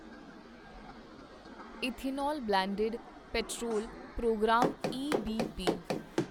ethanol blended petrol programme EBP